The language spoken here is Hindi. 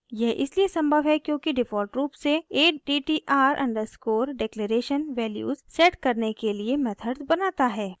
यह इसलिए संभव है क्योंकि डिफ़ॉल्ट रूप से attr_declaration वैल्यूज़ सेट करने के लिए मेथड्स बनाता है